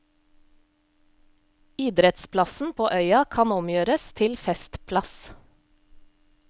Idrettsplassen på øya kan omgjøres til festplass.